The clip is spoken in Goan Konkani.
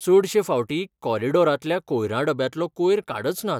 चडशें फावटी कॉरिडॉरांतल्या कोयरा डब्यांतलो कोयर काडच नात.